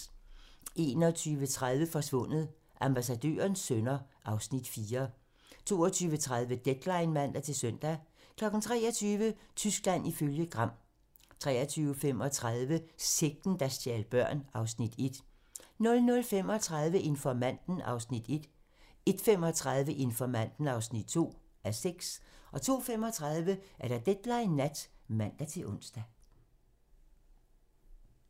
21:30: Forsvundet: Ambassadørens sønner (Afs. 4) 22:30: Deadline (man-søn) 23:00: Tyskland ifølge Gram 23:35: Sekten, der stjal børn (Afs. 1) 00:35: Informanten (1:6) 01:35: Informanten (2:6) 02:35: Deadline nat (man-ons)